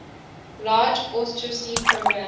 large austerity program